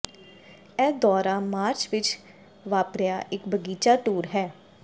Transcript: ਇਹ ਦੌਰਾ ਮਾਰਚ ਵਿਚ ਵਾਪਰਿਆ ਇੱਕ ਬਗੀਚਾ ਟੂਰ ਹੈ